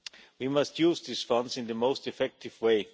We must use these funds in the most effective way.